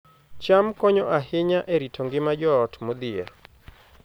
cham konyo ahinya e rito ngima joot modhier